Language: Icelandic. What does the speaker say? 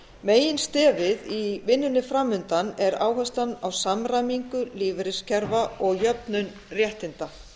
meginstefið í vinnunni fram undan er áherslan á samræmingu lífeyriskerfa og jöfnun réttinda